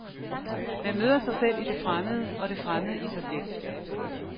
Man møder sig selv i det fremmede og det fremmede i sig selv.